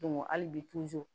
hali bi